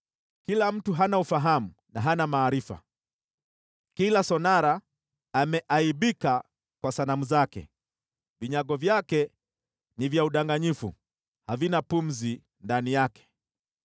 “Kila mtu ni mjinga na hana maarifa; kila sonara ameaibishwa na sanamu zake. Vinyago vyake ni vya udanganyifu, havina pumzi ndani yavyo.